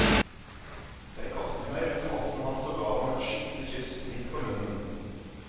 Jeg kastet meg rundt halsen hans og gav ham et skikkelig kyss midt på munnen.